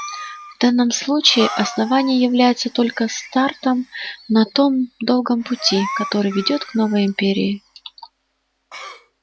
в данном случае основание является только стартом на том долгом пути который ведёт к новой империи